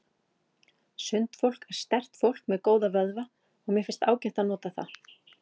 Sundfólk er sterkt fólk með góða vöðva og mér finnst ágætt að nota það.